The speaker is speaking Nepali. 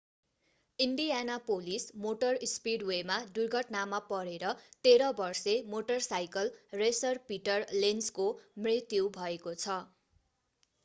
इन्डियानापोलिस मोटर स्पिडवेमा दुर्घटनामा परेर 13 वर्षे मोटरसाइकल रेसर पिटर लेन्जको मृत्यु भएको छ